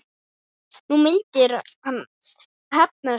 Nú myndi hann hefna sín.